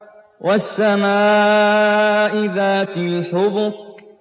وَالسَّمَاءِ ذَاتِ الْحُبُكِ